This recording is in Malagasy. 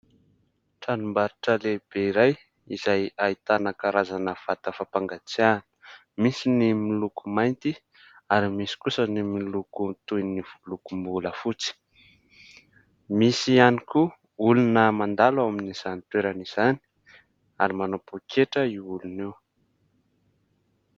Tranombarotra lehibe iray izay ahitana karazana vata fampangatsiahana misy ny miloko mainty ary misy kosa ny miloko toy ny lokom-bolafotsy, misy ihany koa olona mandalo ao amin'izany toerana izany ary manao poketra io olona io.